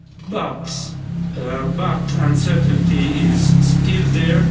But uncertainty is still there.